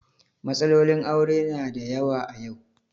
Matsalolin aure na da yawa a yau.